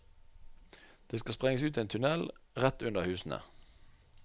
Det skal sprenges ut en tunnel rett under husene.